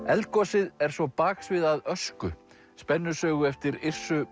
eldgosið er svo baksvið að ösku spennusögu eftir